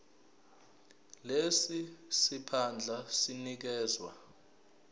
lesi siphandla sinikezwa